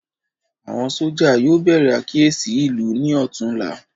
Àwọn sójà yóò bèrè àkíyèsí ìlú ní ọtún la